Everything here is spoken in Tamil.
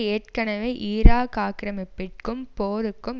ஏற்கெனவே ஈராக் ஆக்கிரமிப்பிற்கும் போருக்கும்